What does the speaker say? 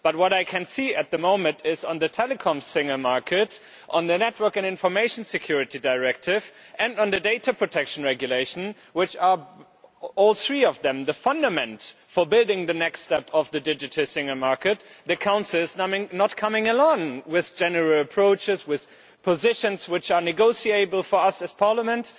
What I can see at the moment is that, on the Telecoms Single Market, on the Network and Information Security Directive and on the Data Protection Regulation all three of which are fundaments for building the next step of the digital single market the Council is not coming along with general approaches, with positions, which are negotiable for us as a Parliament.